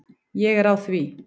Ég er á því.